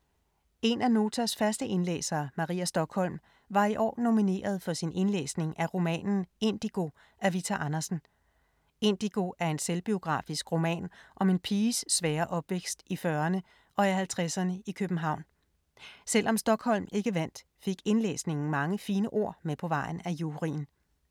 En af Notas faste indlæsere, Maria Stokholm, var i år nomineret for sin indlæsning af romanen Indigo af Vita Andersen. Indigo er en selvbiografisk roman om en piges svære opvækst i 40’erne og 50’erne i København. Selvom Stokholm ikke vandt, fik indlæsningen mange fine ord med på vejen af juryen.